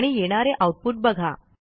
आणि येणारे आऊटपुट बघा